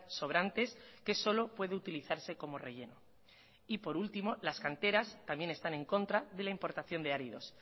sobrantes que solo puede utilizarse como relleno por último las canteras también están en contra de la importación de áridos